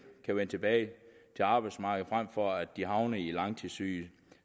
at vende tilbage til arbejdsmarkedet frem for at de havner i langtidssygdom